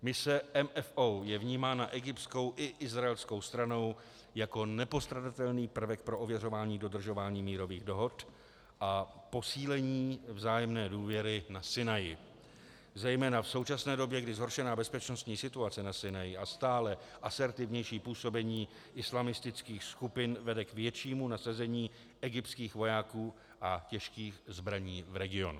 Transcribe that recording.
Mise MFO je vnímána egyptskou i izraelskou stranou jako nepostradatelný prvek pro ověřování dodržování mírových dohod a posílení vzájemné důvěry na Sinaji, zejména v současné době, kdy zhoršená bezpečností situace na Sinaji a stále asertivnější působení islamistických skupin vede k většímu nasazení egyptských vojáků a těžkých zbraní v regionu.